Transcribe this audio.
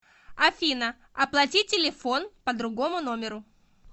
афина оплати телефон по другому номеру